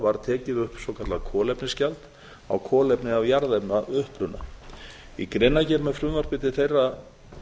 var tekið upp svokallað kolefnisgjald á kolefni af jarðefnauppruna í greinargerð með frumvarpi til þeirra